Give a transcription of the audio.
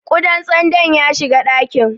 Ƙudan tsandon ya shiga ɗakin.